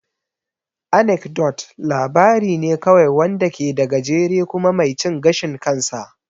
Anecdote labari ne kawai wanda ke da gajere kuma mai cin gashin kansa.